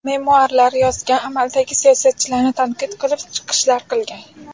Memuarlar yozgan, amaldagi siyosatchilarni tanqid qilib chiqishlar qilgan.